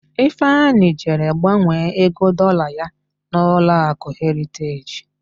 Ifeanyị jere gbanwee ego Dọlaa ya n'ụlọakụ Heriteji.